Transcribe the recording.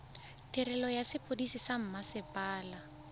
tirelo ya sepodisi sa mmasepala